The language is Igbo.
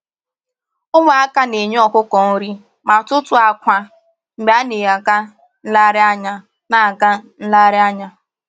Ụmụ aka na-enye ọkụkọ nri ma tụtụọ akwa mgbe a na-aga nlereanya na-aga nlereanya